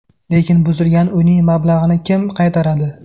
Lekin buzilgan uyning mablag‘ini kim qaytaradi?